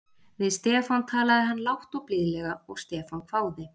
Við Stefán talaði hann lágt og blíðlega og Stefán hváði